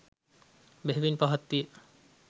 බෙහෙවින් පහත් විය.